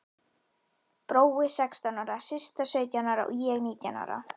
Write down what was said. Brói sextán ára, Systa sautján ára og ég nítján ára.